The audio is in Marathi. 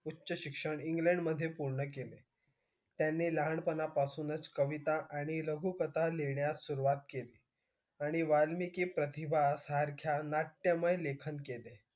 उच्चशिक्षण इंग्लंड मध्ये पूर्ण केले त्यांनी लहान पणापासूनच कविता आणि लघुकथा लिहिण्यास सुरुवात केली आणि वाल्मिकी प्रतिभा सारख्या नाट्यमय लेखन केले